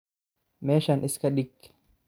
Meshan iskadhig